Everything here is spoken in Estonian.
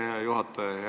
Aitäh, hea juhataja!